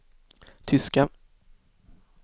tyska